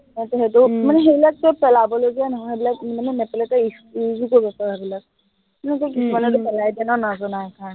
মানে সেইটো, মানে সেইবিলাক সৱ পেলাবলগীয়া নহয়, মানে সেইবিলাক নেপেলাই তই use ও কৰিব পাৰ সেইবিলাক মানে কি, কিছুমানেতো পেলাই দিয়ে ন, নজনাৰ কাৰনে।